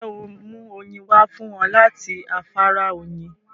Ǹjẹ́ óò mú oyin wá fún wọn láti afárá Oyin?